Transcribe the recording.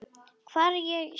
Hvar ég sé.